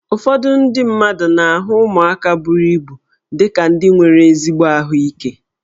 Ụfọdụ ndị mmadụ na-ahụ ụmụaka buru ibu dị ka ndị nwere ezigbo ahụike